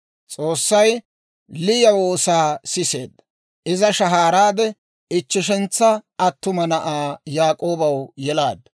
S'oossay Liya woosaa siseedda; iza shahaaraade, ichcheshantsa attuma na'aa Yaak'oobaw yelaaddu.